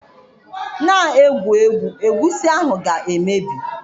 Na egwu egwu, egusi ahụ ga emebi